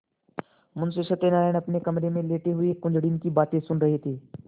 मुंशी सत्यनारायण अपने कमरे में लेटे हुए कुंजड़िन की बातें सुन रहे थे